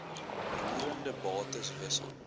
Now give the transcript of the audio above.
roerende bates wissel